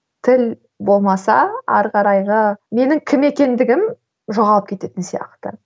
тіл болмаса ары қарайғы менің кім екендігім жоғалып кететін сияқты